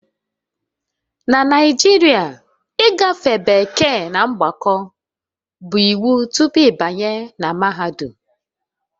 Na Naijiria ịgafe bekee na mgbakọ bụ iwu tupu ịbanye na mahadum